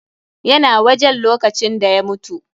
YA na wajen lokacin da ya mutu.